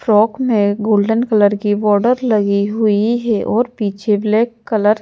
frock में golden colour की border लगी हुई है और पीछे ब्लैक कलर --